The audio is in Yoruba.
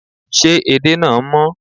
Ṣé edé náà mọ́?